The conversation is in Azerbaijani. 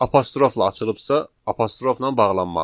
Apostrofla açılıbsa, apostrofla bağlanmalıdır.